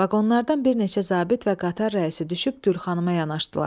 Vaqonlardan bir neçə zabit və qatar rəisi düşüb Gülxanımaya yanaşdılar.